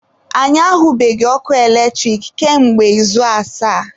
Anyị ahubeghị ọkụ eletrik kamgbe izu asaa